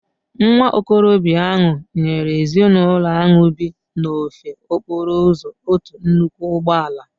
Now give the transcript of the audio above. Nwa okorobịa ahụ nyere ezinụlọ ahu bi n'ofe okporo ụzọ otu nnukwu ụgbọ ala